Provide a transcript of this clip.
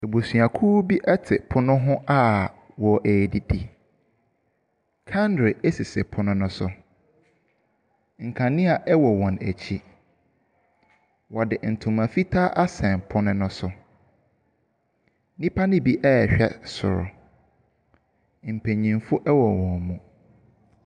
Abusuakuo bi te pono hɔ a ɔredidi. kandre esisi pono no so. Nkanea ɛwɔ wɔn ɛkyi. Ɔde ntoma fitaa asen pono no so. Nipa no bi rehwɛ soro. Mpanyinfoɔ wɔ wɔn mu.